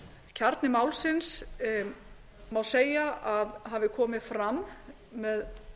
kjarni málsins má segja að hafi komið fram með